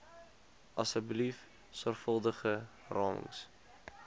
asseblief sorgvuldige ramings